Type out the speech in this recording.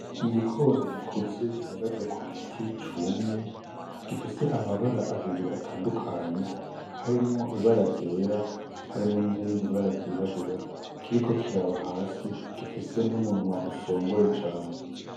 Igikona gikuze gihagaze ku giti cumye , gifise amabara abiri atandukanye harimwo ibara ryera harimwo n’irindi bara ryirabura , kiriko kiraba hasi gifise n’umunwa usongoye cane .